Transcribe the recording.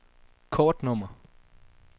kortnummer